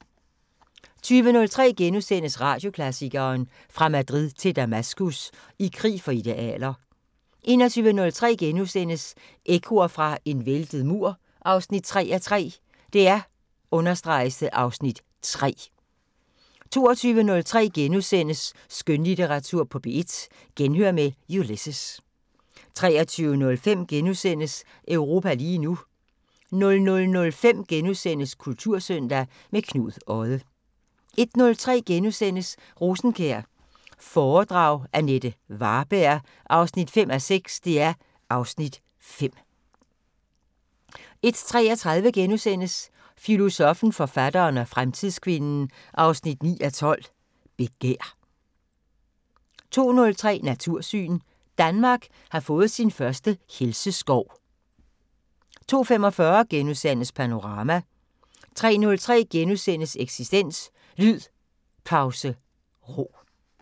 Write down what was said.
20:03: Radioklassikeren: Fra Madrid til Damaskus – I krig for idealer * 21:03: Ekkoer fra en væltet mur 3:3 (Afs. 3)* 22:03: Skønlitteratur på P1: Genhør med Ulysses * 23:05: Europa lige nu * 00:05: Kultursøndag – med Knud Odde * 01:03: Rosenkjær foredrag – Jeanette Varberg 5:6 (Afs. 5)* 01:33: Filosoffen, forfatteren og fremtidskvinden 9:12: Begær * 02:03: Natursyn: Danmark har fået sin første helseskov * 02:45: Panorama * 03:03: Eksistens: Lyd Pause Ro *